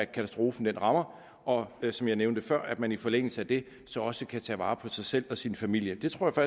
katastrofen rammer og som jeg nævnte før at man i forlængelse af det så også kan tage vare på sig selv og sin familie det tror